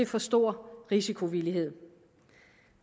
for stor risikovillighed